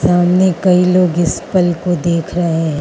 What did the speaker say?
सामने कई लोग इस पल को देख रहे--